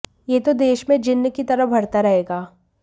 यह तो देश में जिन्न की तरह बढ़ता रहेगा